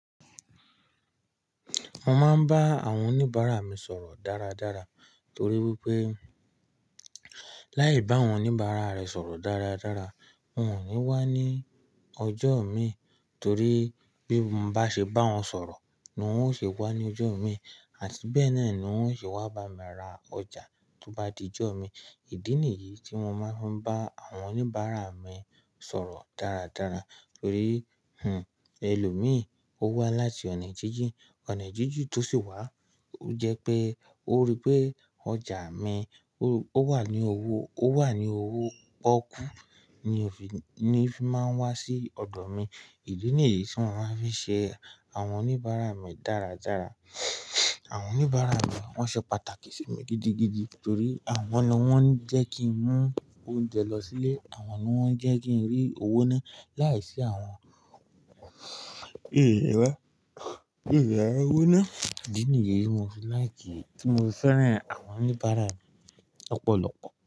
Mo máa ń bá àwọn oníbàárà mi sọ̀rọ̀ dáradára torí wípé láì bá àwọn oníbàárà rẹ sọ̀rọ̀ dáradára, wón ò ní wá ní ọjọ́ mi torí bí mo bá ṣe bá wọn sọ̀rọ̀ ni wón ó ṣe wá ní ọjọ́ mi àti bẹ́ẹ̀ náà ni wón ó ṣe wá bá mi ra ọjà tí ó bá di ọjọ́ mi. Ìdí nìyí tí mo máa ń bá àwọn oníbàárà mi sọ̀rọ̀ dáradára torí, ẹlòmíì ó wá láti ọ̀nà jíjìn, ọ̀nà jíjìn tó sì wá ó jẹ́ pé ó rí pé ọjà mi ó wà ní owó pọ́kú ni òfi máa ń wá sí ọ̀dọ̀ mi. Ìdí nìyí tí wọ́n máa ń fi ṣe àwọn oníbàárà mi dáradára. Àwọn oníbàárà mi wọ́n ṣe pàtàkì sí mi gidigidi torí àwọn lọ́ wọ́n ń jẹ́ kí n mú oúnjẹ lọ sílé, àwọn lọ́ wọ́n ń jẹ́ kí n rí owó ná láìsí àwọn mio lerí owó ná. Ìdí nìyí tí mo fi fẹ́ràn àwọn oníbàárà mi ọ̀pọ̀lọpọ̀